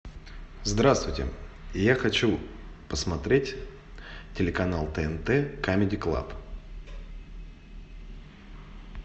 здравствуйте я хочу посмотреть телеканал тнт камеди клаб